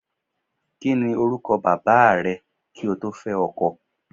Kí ni orúkọ bàbáà rẹ kí o tó fẹ́ ọkọ?